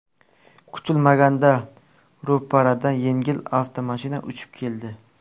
Kutilmaganda ro‘paradan yengil avtomashina uchib keldi.